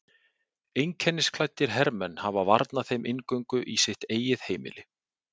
Einkennisklæddir hermenn hafa varnað þeim inngöngu í sitt eigið heimili.